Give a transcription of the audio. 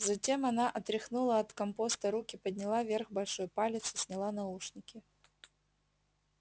затем она отряхнула от компоста руки подняла вверх большой палец и сняла наушники